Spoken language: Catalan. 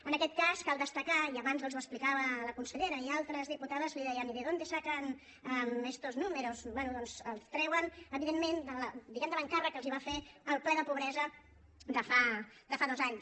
en aquest cas cal destacar i abans els ho explicava la consellera i altres diputades li deien y de dónde sacan estos números bé doncs els treuen evidentment diguem ne de l’encàrrec que els va fer el ple de pobresa de fa dos anys